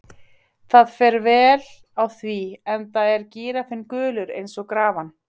Það fer vel á því, enda er gíraffinn gulur eins og grafan.